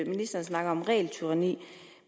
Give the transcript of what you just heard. ministeren snakker om regeltyranni